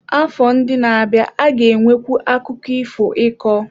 Afọ ndị na-abịa a ga-enwekwu akụkọ ifo ịkọ.